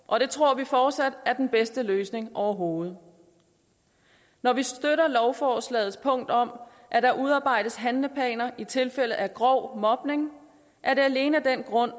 og det tror vi fortsat er den bedste løsning overhovedet når vi støtter lovforslagets punkt om at der udarbejdes handleplaner i tilfælde af grov mobning er det alene af den grund